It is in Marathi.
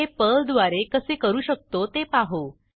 हे पर्लद्वारे कसे करू शकतो ते पाहू